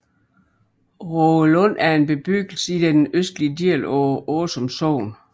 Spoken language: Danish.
Rågelund er en bebyggelse i den østlige del af Åsum Sogn